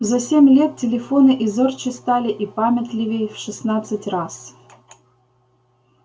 за семь лет телефоны и зорче стали и памятливей в шестнадцать раз